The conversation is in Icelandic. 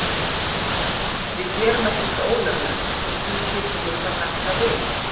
Við gerum ekkert ólöglegt og því skildum við þá hætta við?